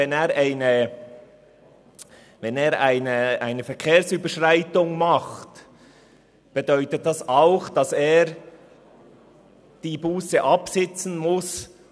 Wenn er eine Verkehrsüberschreitung begeht, bedeutet das auch, dass er die Busse absitzen muss.